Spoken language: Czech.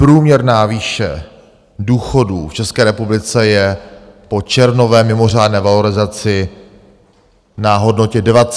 Průměrná výše důchodů v České republice je po červnové mimořádné valorizaci na hodnotě 20 200 korun.